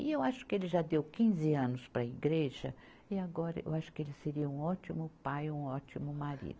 E eu acho que ele já deu quinze anos para a igreja e agora eu acho que ele seria um ótimo pai, ou um ótimo marido.